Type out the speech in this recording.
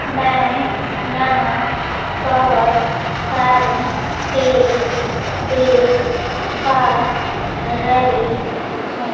मैं यहां बहोत सारे पेड़ देख पा रही हूं।